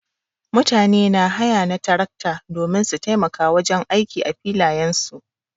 Mutane na haya na tarakta domin su taimaka wajen aiki a filayen su.